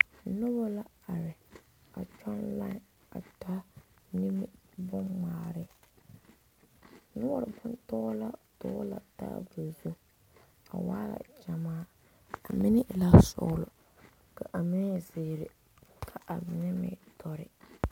Noba la are a kyɔŋ fuoli a taa nimi bon ŋmaare noɔre bontɔlaa tɔli la taa ba zu waa la gyamaa a mine e la sɔglɔ ka a mine e zeɛre kaa mine meŋ e doɔre